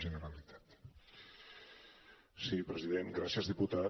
gràcies diputat